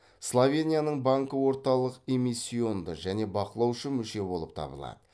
словенияның банкі орталық эммисионды және бақылаушы мүше болып табылады